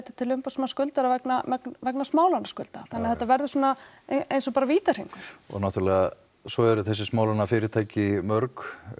til umboðsmanns skuldara vegna vegna þannig að þetta verður svona eins og bara vítahringur og náttúrulega svo eru þessi smálánafyrirtæki mörg